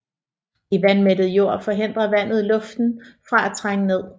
I vandmættet jord forhindrer vandet luften fra at trænge ned